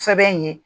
Sɛbɛn ye